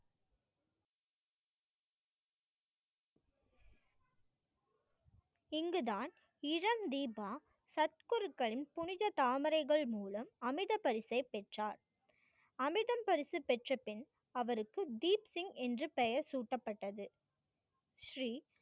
இங்குதான் இளம் தீபா சர் குருக்களின் புனித தாமரைகள் மூலம் அமித பரிசை பெற்றார். அமிர்தம் பரிசு பெற்றப்பின் அவருக்கு தீப் சிங் என்று பெயர் சூட்டப்பட்டது. ஸ்ரீ